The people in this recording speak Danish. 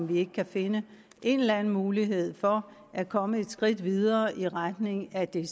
vi ikke kan finde en eller anden mulighed for at komme et skridt videre i retning af det